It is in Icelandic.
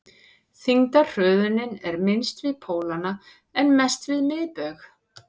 þyngdarhröðunin er minnst við pólana en mest við miðbaug